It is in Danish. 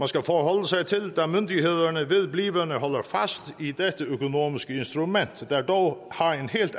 skal forholde sig til da myndighederne vedblivende holder fast i dette økonomiske instrument der dog